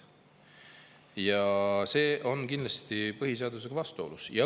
Ja see on kindlasti põhiseadusega vastuolus.